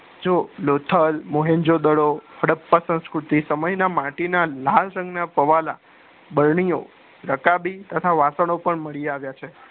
જો લોથલ મોહેન્ધ્ર્જો દડો હડપ્પા સંસ્કૃતિ સમય ના માટીના લાલ સંગ ના પવાલા બરણી ઓ રકાબી થતા વાસણો પણ મળી આવ્યા છે